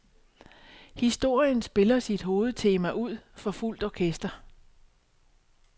Historien spiller sit hovedtema ud for fuldt orkester.